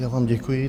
Já vám děkuji.